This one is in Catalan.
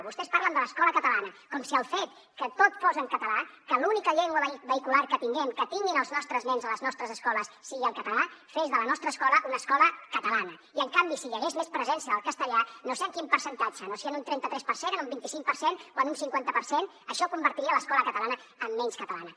vostès parlen de l’escola catalana com si el fet que tot fos en català que l’única llengua vehicular que tinguin els nostres nens a les nostres escoles sigui el català fes de la nostra escola una escola catalana i en canvi si hi hagués més presència del castellà no sé en quin percentatge no sé si en un trenta tres per cent en un vint cinc per cent o en un cinquanta per cent això convertiria l’escola catalana en menys catalana